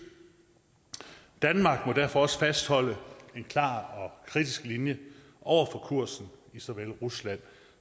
danmark må derfor også fastholde en klar og kritisk linje over for kursen i såvel rusland